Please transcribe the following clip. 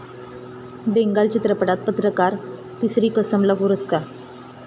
बेंगाल चित्रपटात पत्रकार 'तिसरी कसम' ला पुरस्कार